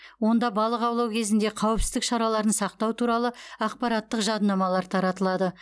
онда балық аулау кезінде қауіпсіздік шараларын сақтау туралы ақпараттық жадынамалар таратылады